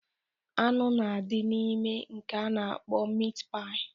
Anụ na adị n'ime nke a na-akpọ mit paị